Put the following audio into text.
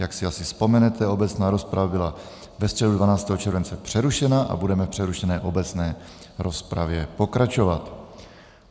Jak si asi vzpomenete, obecná rozprava byla ve středu 12. července přerušena a budeme v přerušené obecné rozpravě pokračovat.